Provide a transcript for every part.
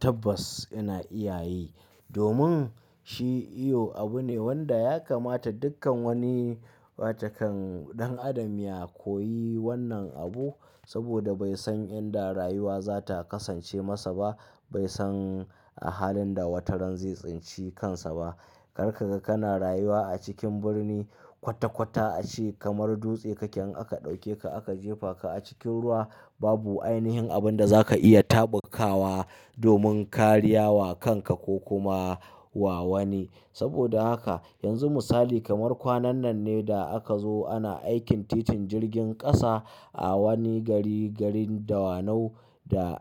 Tabbas ina iya yi domin shi iyo abu ne wanda ya kamata dukkan wani wata kan ɗan adam ya koyi wannan abu. Saboda bai san yanda rayuwa za ta kasance masa ba bai san a halin da wataran zai tsinci kansa ba. Karka ga kana rayuwa a cikin birni kwata kwata a ciki kamar dutse kake in aka ɗauke ka aka jefa ka a cikin ruwa babu ainihin abin da za ka iya taɓa kawa domin ka riya wa kanka ko kuma wa wani. Saboda haka yanzu misali kamar kwanan nan ne da aka zo ana aikin titin jirgin ƙasa a wani gari garin Dawanau da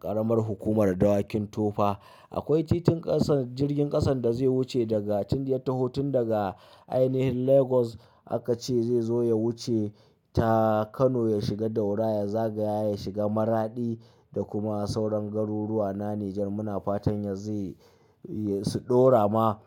ƙaramar hukumar Dawakin Tofa. Akwai titin ƙasan jirgin ƙasan da zai wuce daga tin ya taho tun daga ainihin Lagos aka ce zai zo ya wuce ta Kano ya shiga Daura ya zagaya ya shiga Maradi da kuma sauran garuruwa na Nijar muna fatan ya zai su ɗora ma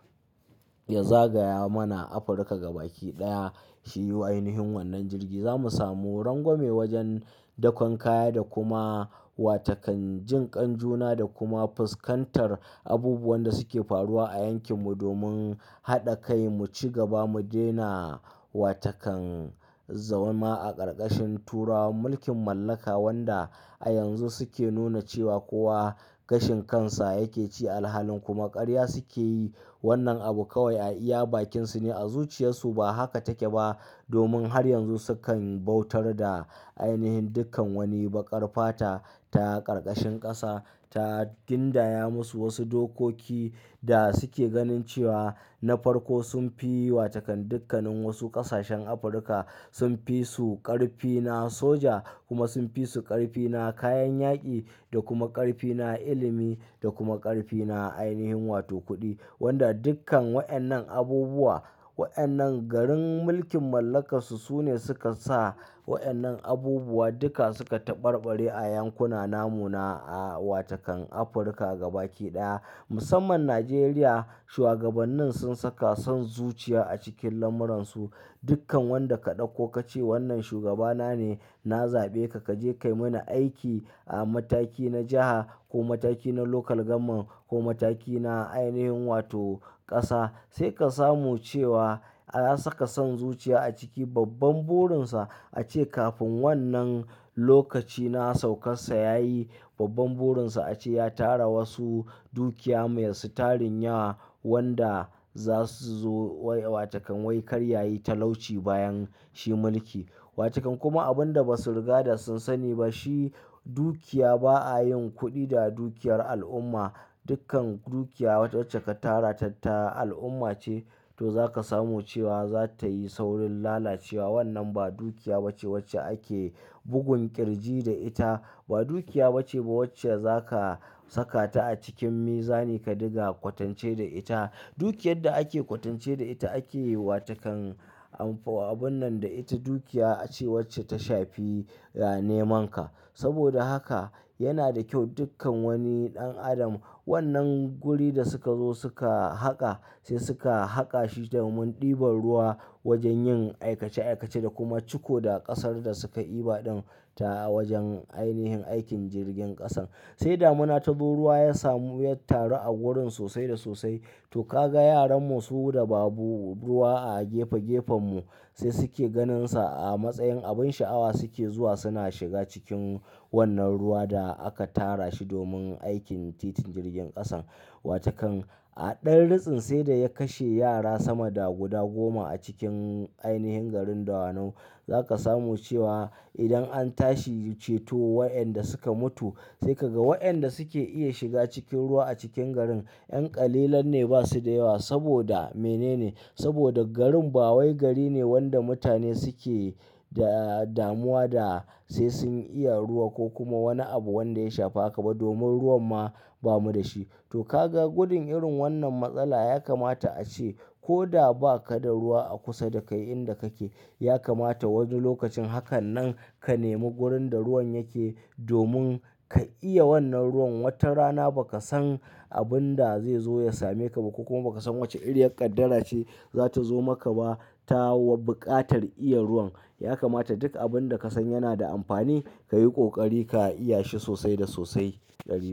ya zagaya mana Afirka gabakiɗaya. Shi ainihin wannan jirgi za mu samu rangwame wajen dakon kaya da kuma wa takan jinƙan juna da kuma fuskantar abubuwan da suke faruwa a yankin mu domin haɗa kai mu ci gaba mu daina wata kan zauna a karkashin tura mulkin mallaka wanda a yanzu suke nuna cewa kowa gashin kansa yake ci. Alhalin kuma karya suke yi wannan abu kawai a iya bakinsu ne a zuciyarsu ba haka take ba. Domin har yanzu sukan bautar da ainihin dukkan wani baƙar fata ta karkashin ƙasa ta gindaya musu wasu dokoki da suke ganin cewa na farko sun fi yi wa takan dukkannin wasu ƙasashen Afirka. Sun fi su ƙarfi na soja kuma sun fi su ƙarfi na kayan yaƙi da kuma ƙarfi na ilimi da kuma ƙarfi na ainihin wato kuɗi. Wanda dukkan waɗannan abubuwa waɗannan garin mulkin mallakansu su ne suka sa waɗannan abubuwa duka suka taɓarɓari a yankuna namuna a wata kan Afirka gabaɗaya musamman Najeriya. Shuwagabannin sun saka son zuciya a cikin lamuransu dukkan wanda ka ɗauko ka ce wannan shugaba na ne na zaɓe ka kaje ka yi mani aiki a mataki na jiha ko mataki na lokal gamon ko mataki na ainihin wato ƙasa. Sai ka samu cewa an saka son zuciya a ciki babban burinsa a ce kafin wannan lokaci na saukar sa ya yi babban burinsa ace ya tara wasu dukiya masu tarin yawa wanda za su zo wai wa tokan wai karyayi talauci bayan shi mulki. Wa takan kuma abun da ba su riga da sun sani ba shi dukiya ba a yin kuɗi da dukiyar al'umma. Dukkan dukiya wacce ka tara ta al'umma ce to za ka samu cewa za ta yi saurin lalacewa. Wannan ba dukiya wacce ake bugun ƙirji da ita ba dukiya wacce ba wacce za ka saka ta a cikin miza ni ka ɗinga kwatance da ita. Dukiyar da ake kwatance da ita ake wa takan amfo abun nan da ita dukiya ace wacce ta shafi ya neman ka. Saboda haka yana da kyau dukkan wani ɗan adam wannan guri da suka zo suka haƙa sai suka haƙa shi domin ɗiban ruwa wajen yin aikace aikace da kuma ciko da ƙasar da suka iba ɗan ta wajen ainihin aikin jirgin ƙasan. Sai damina ta zo ruwa ya samu ya taru a wurin sosai da sosai to ka ga yaran mu su da babu ruwa a gefe gefen mu sai suke ganinsa a matsayin abin sha'awa suke zuwa suna shiga cikin wannan ruwa da aka tara shi domin aikin titin jirgin ƙasan. Wa takan a ɗan ritsin sai da ya kashe yara sama da guda goma a cikin ainihin garin Dawanau. Za ka samu cewa idan an tashi ceto waɗanda suka mutu sai ka ga waɗanda suke iya shiga cikin ruwa a cikin garin yan ƙalilan ne ba su da yawa. Saboda mene ne? Saboda garin ba wai gari ne wanda mutane suke da damuwa da sai sun iya ruwa ko kuma wani abu wanda ya shafa kaba domin ruwan ma ba mu da shi. To ka ga gudun irin wannan matsala ya kamata a ce ko da ba ka da ruwa a kusa da kai inda kake ya kamata wani lokacin hakan nan ka nemi wurin da ruwan yake domin ka iya wannan ruwan. Wata rana ba ka san abin da zai zo ya same ka ba ko kuma ba ka san wace iriyar ƙaddara ce za ta zo maka ba ta bukatar iya ruwan. Ya kamata duk abin da ka san yana da amfani ka yi ƙoƙari ka iya shi sosai da sosai. Yanzu.